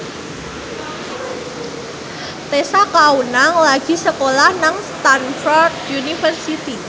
Tessa Kaunang lagi sekolah nang Stamford University